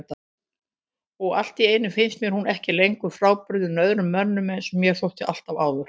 Og alltíeinu finnst mér hún ekki lengur frábrugðin öðrum mömmum einsog mér þótti alltaf áður.